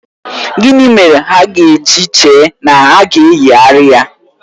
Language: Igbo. Gịnị mere ha ga-eji chee na a ga-eyigharị ya?